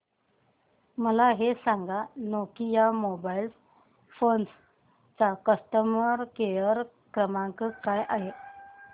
मला हे सांग नोकिया मोबाईल फोन्स चा कस्टमर केअर क्रमांक काय आहे